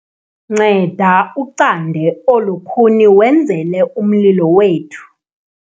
nceda ucande olu khuni wenzele umlilo wethu